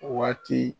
Waati